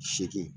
Seegin